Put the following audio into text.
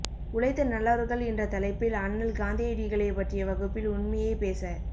உழைத்த நல்லவர்கள் என்ற தலைப்பில் அண்ணல் காந்தியடிகளைப் பற்றிய வகுப்பில் உண்மையே பேச